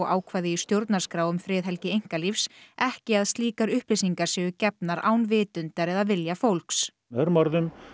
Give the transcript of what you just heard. ákvæði í stjórnarskrá um friðhelgi einkalífs ekki að upplýsingar séu gefnar án vitundar eða vilja fólks með öðrum orðum